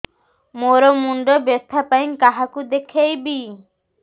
ମୋର ମୁଣ୍ଡ ବ୍ୟଥା ପାଇଁ କାହାକୁ ଦେଖେଇବି